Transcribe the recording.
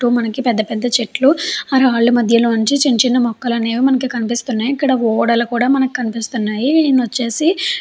చుట్టూ మనకి పెద్ద పెద్ద చెట్లు ఆ రాళ్ళ మధ్యలో నుంచి చిన్న చిన్న మొక్కలు అనేవి కనిపిస్తూ ఉన్నాయి ఇక్కడ ఓడలు కూడా మనకి కనిపిస్తూ ఉన్నాయి ఇ వచ్చేసి --